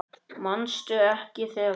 Manstu ekki þegar